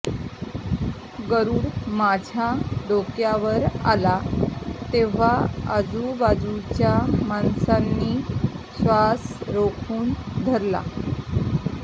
गरुड माझ्या डोक्यावर आला तेव्हा आजूबाजूच्या माणसांनी श्वास रोखून धरले